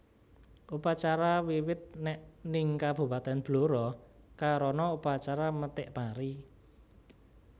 Upacara Wiwit nèk ning kabupatèn Blora karana upacara methik pari